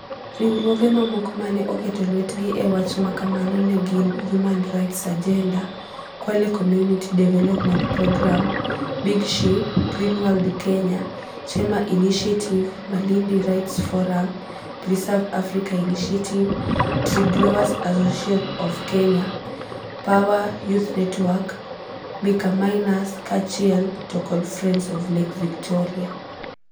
Riwruoge mamoko mane oketo lwetgi e wach makamano ne gin Human Rights Agenda, Kwale Community Development Programme, Big Ship, Green World Kenya, Chema Initiative, Malindi Rights Forum, Preserve Africa Initiative, Tree Growers Association of Kenya, Power Youth Network, Mica Miners kaachiel to kod Friends of Lake Victoria.